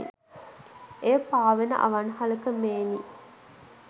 එය පාවෙන අවන්හලක මෙිනි